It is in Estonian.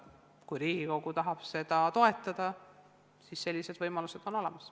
Kui Riigikogu tahab seda toetada, siis sellised võimalused on olemas.